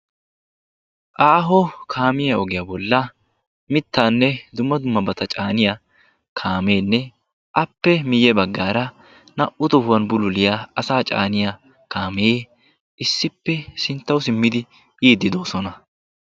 aaho kaamiya ogiya bollan mittaanne dumma dummabata caaniya kaameenne appe miyye baggaara naa"u tohuwan bululiya asaa caaniya kaame issippe sinttawu simmidi biiddi doosona.